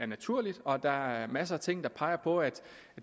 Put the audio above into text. naturligt og der er masser af ting der peger på at